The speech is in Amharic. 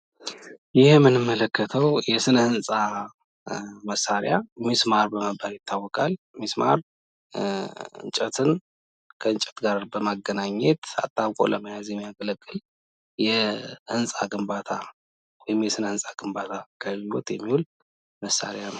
ይህ ምንመለከተው የስነ ህንጻ መሳሪያ ሚስማር በመባል ይታወቃል፡፡ ሚስማር እንጨትን ከ እንጨት ጋር በማገናኘት አጣብቆ ለመያዝ የሚያገለግል የ ህንጻ ግንባታ ወይም ለ ስነ ህንጻ ግንባታ የሚውል መሳሪያ ነው፡፡